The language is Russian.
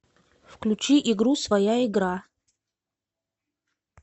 включи игру своя игра